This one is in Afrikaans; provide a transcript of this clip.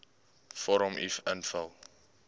vorm uf invul